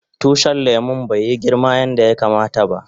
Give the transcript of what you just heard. Tushin lemun bai yi girma yanda yakama ta ba.